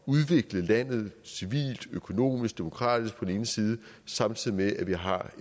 udvikle landet civilt økonomisk og demokratisk på den ene side samtidig med at vi har